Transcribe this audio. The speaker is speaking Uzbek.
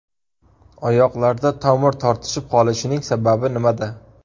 Oyoqlarda tomir tortishib qolishining sababi nimada?